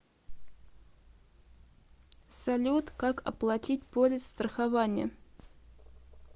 салют как оплатить полис страхования